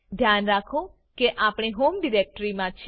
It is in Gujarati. ધ્યાન રાખો કે આપણે હોમ ડિરેક્ટરી મા છીએ